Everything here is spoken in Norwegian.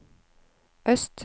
øst